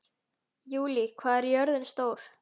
Júlí, hvað er jörðin stór?